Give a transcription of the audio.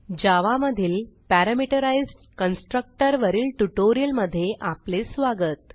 जावा मधील parameterized constructor वरील ट्युटोरियलमधे स्वागत